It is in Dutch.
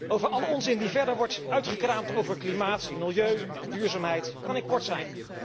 Over alle onzin die verder wordt uitgekraamd over klimaat, milieu en duurzaamheid kan ik kort zijn.